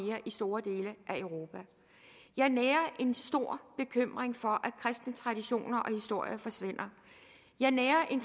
store dele af europa jeg nærer en stor bekymring for at kristen tradition og historie forsvinder jeg nærer en